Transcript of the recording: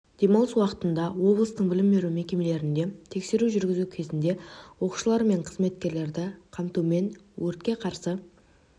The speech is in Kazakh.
демалыс уақытында облыстың білім беру мекемелерінде тексеру жүргізу кезінде оқушылар мен қызметкерлерді қамтумен өртке қарсы